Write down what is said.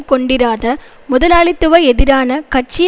கொண்டிராத முதலாளித்துவ எதிரான கட்சி